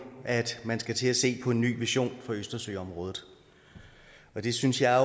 at man skal til at se på en ny vision for østersøområdet og det synes jeg